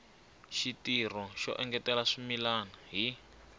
xitirho xo engetela swimila hi